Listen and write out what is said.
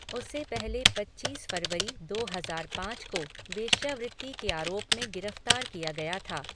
उसे पहले पच्चीस फरवरी, दो हजार पाँच को वेश्यावृत्ति के आरोप में गिरफ्तार किया गया था।